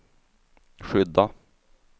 skydda